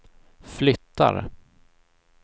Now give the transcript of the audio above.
flyttar